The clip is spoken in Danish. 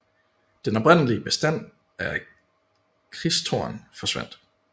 Den oprindelige bestand af kristtorn forsvandt